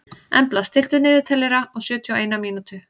Embla, stilltu niðurteljara á sjötíu og eina mínútur.